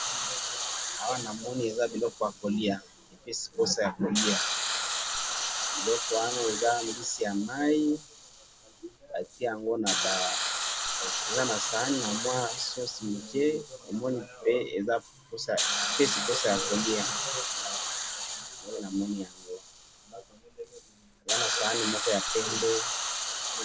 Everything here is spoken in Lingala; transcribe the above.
awa namoni eza biloko ya koliya epesi posa ya koliya eloko wana eza mbisi ya mayi batiye yango naba eza na sauce batiye na sahani ya muke epesi posa ya koliya eza na sahani ya pembe.